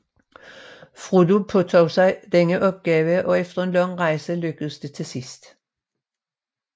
Frodo påtog sig denne opgave og efter en lang rejse lykkedes det til sidst